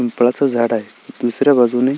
पिंपळा च झाड आहे दुसऱ्या बाजूने--